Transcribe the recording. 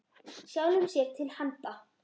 Sjálfum sér til handa.